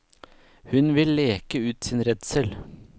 Hun vil leke ut sin redsel.